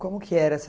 Como que era?